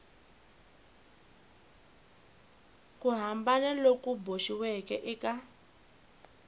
ku hambana loku boxiweke eka